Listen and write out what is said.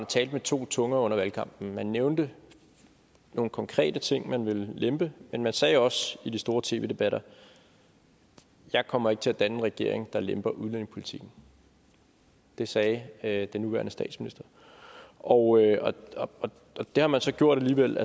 talte med to tunger under valgkampen man nævnte nogle konkrete ting man ville lempe men man sagde også i de store tv debatter jeg kommer ikke til at danne en regering der lemper udlændingepolitikken det sagde sagde den nuværende statsminister og det har man så gjort alligevel